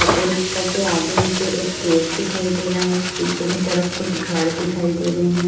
Auto rickshaw आगे मुझे एक गेट दिखाई दे रहा है पीछे की तरफ कुछ घर दिखाई दे रहे हैं।